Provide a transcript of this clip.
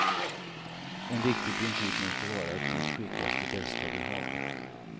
En viktig princip måste vara att dit skickas det bästa vi har.